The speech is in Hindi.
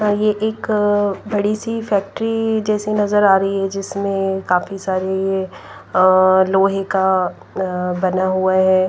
यह एक बड़ी सी फैक्ट्री जैसी नजर आ रही है जिसमें काफी सारे अ लोहे का अ बना हुआ है।